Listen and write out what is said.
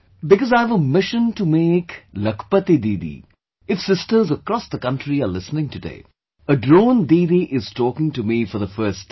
Because I have a mission to make Lakhpati Didi... if sisters across the country are listening today, a Drone Didi is talking to me for the first time